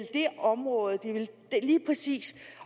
det område lige præcis